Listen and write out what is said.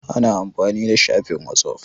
Ana amfani da shafin whatsapp.